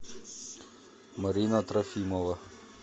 марина трофимова